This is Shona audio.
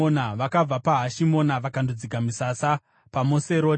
Vakabva paHashimona vakandodzika misasa paMoseroti.